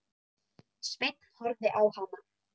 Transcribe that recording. Sveinn horfði á hana.